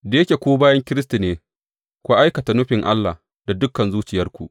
Da yake ku bayin Kiristi ne, ku aikata nufin Allah da dukan zuciyarku.